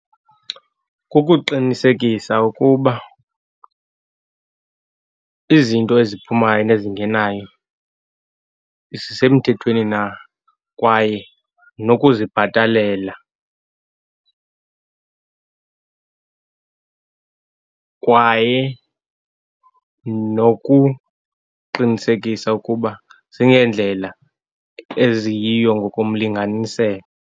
Kukuqinisekisa ukuba izinto eziphumayo nezingenayo zisemthethweni na, kwaye nokuzibhatalela, kwaye nokuqinisekisa ukuba zingendlela eziyiyo ngokomlinganiselo.